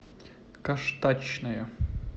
каштачная